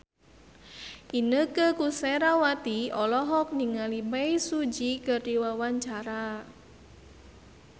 Inneke Koesherawati olohok ningali Bae Su Ji keur diwawancara